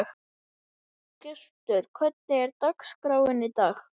Hildibrandur, hvað er á dagatalinu mínu í dag?